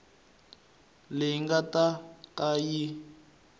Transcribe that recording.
leyi nga ta ka yi